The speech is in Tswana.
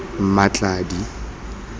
mmatladi